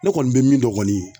Ne kɔni be min dɔn kɔni